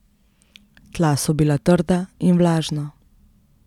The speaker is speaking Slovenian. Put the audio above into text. Tla so bila trda in vlažna.